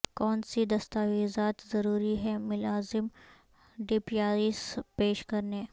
کون سی دستاویزات ضروری ہیں ملازم ڈیپیایس پیش کرنے